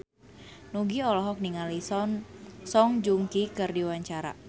Nugie olohok ningali Song Joong Ki keur diwawancara